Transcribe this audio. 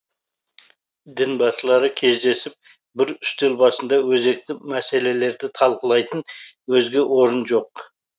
дінбасылары кездесіп бір үстел басында өзекті мәселелерді талқылайтын өзге орын жоқ